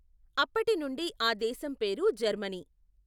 అప్పటినుండి ఆ దేశం పేరు జర్మనీ.